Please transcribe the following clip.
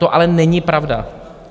To ale není pravda!